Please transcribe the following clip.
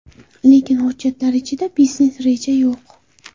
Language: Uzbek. Lekin hujjatlar ichida biznes reja yo‘q.